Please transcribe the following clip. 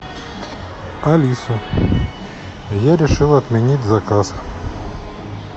алиса я решил отменить заказ